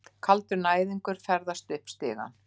Kaldur næðingur ferðast upp stigann.